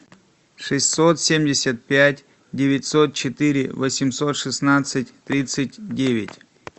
шестьсот семьдесят пять девятьсот четыре восемьсот шестнадцать тридцать девять